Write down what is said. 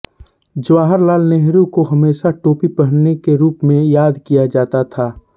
जवाहरलाल नेहरू को हमेशा टोपी पहनने के रूप में याद किया जाता था